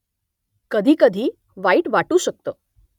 कधीकधी वाईट वाटू शकतं